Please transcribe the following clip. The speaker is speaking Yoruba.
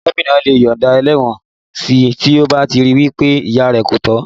Gómìnà lè yọ̀nda ẹlẹ́wọ̀n si tí ó bá ríi wí pé ìyà kò tọ́ sí